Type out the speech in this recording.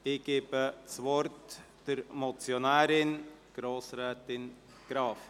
Ich gebe das Wort der Motionärin, Grossrätin Graf.